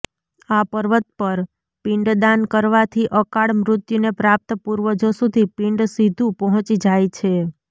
આ પર્વત પર પિંડદાન કરવાથી અકાળ મૃત્યુને પ્રાપ્ત પૂર્વજો સુધી પિંડ સીધું પહોંચી જાય છે